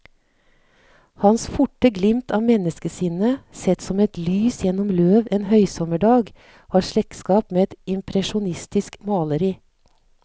Hans forte glimt av menneskesinnet, sett som lys gjennom løv en høysommerdag, har slektskap med et impresjonistisk maleri.